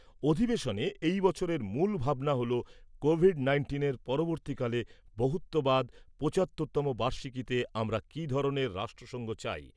অধিবেশনে এই বছরের মূল ভাবনা হল কোভিড নাইন্টিনের পরবর্তীকালে বহুত্ববাদঃ পঁচাত্তর তম বার্ষিকীতে আমরা কী ধরনের রাষ্ট্রসংঘ চাই ।